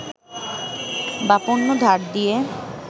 বা পণ্য ধার দিয়ে